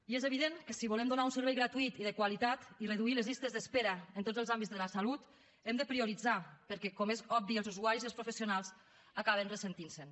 i és evident que si volem donar un servei gratuït i de qualitat i reduir les llistes d’espera en tots els àmbits de la salut hem de prioritzar perquè com és obvi els usuaris i els professionals acaben ressentint se’n